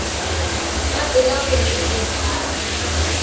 ka pela gomme o phare